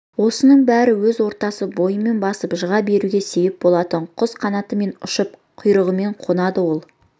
осының бәрі өз ортасын бойымен басып жыға беруге себеп болатын құс қанатымен ұшып құйрығымен қонады сол